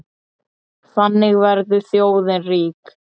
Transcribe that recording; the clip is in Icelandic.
Þannig verður þjóðin rík.